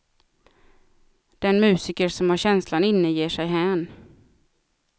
Den musiker som har känslan inne ger sig hän.